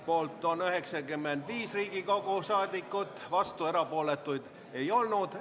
Poolt on 95 Riigikogu liiget, vastuolijaid ja erapooletuid ei olnud.